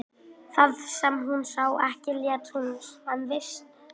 Það sem hún sá ekki lét hún sem hún vissi ekki.